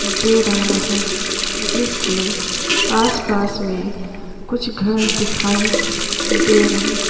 दे रहा है जिसके आस-पास में कुछ घर दिखाई दे रहें हैं।